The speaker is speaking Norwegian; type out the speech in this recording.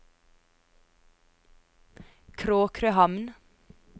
Kråkrøhamn